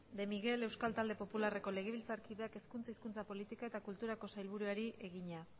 de miguel euskal talde popularreko legebiltzarkideak hezkuntza hizkuntza politika eta kulturako sailburuari egina